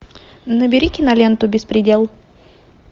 набери киноленту беспредел